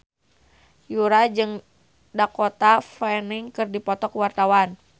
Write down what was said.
Yura jeung Dakota Fanning keur dipoto ku wartawan